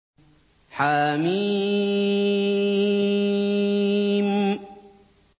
حم